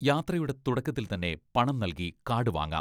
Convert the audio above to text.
യാത്രയുടെ തുടക്കത്തിൽ തന്നെ പണം നൽകി കാഡ് വാങ്ങാം.